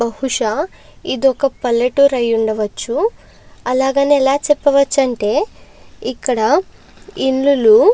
బహుశా ఇదొక పల్లెటూరి అయి ఉండవచ్చు. అలాగని ఎలా చెప్పవచ్చంటే ఇక్కడ ఇల్లులు --